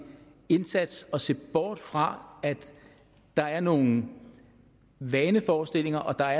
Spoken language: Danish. indsats og se bort fra at der er nogle vaneforestillinger og at der